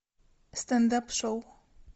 стендап шоу